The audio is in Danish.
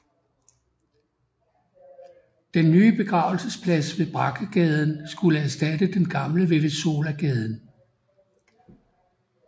Den nye begravelsesplads ved Brackagaden skulle erstatte den gamle ved Wesołagaden